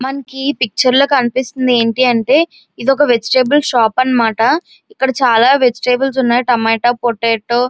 మనకి ఈ పిక్చర్ లో కనిపిస్తుంది ఏంటి అంటే ఇదొక వెజిటబుల్ షాప్ అనమాట. అక్కడ చాలా వెజిటబుల్స్ ఉన్నాయ్ అనమాట టమాటో పొటాటో --